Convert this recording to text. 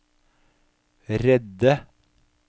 redde